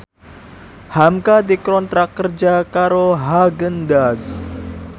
hamka dikontrak kerja karo Haagen Daazs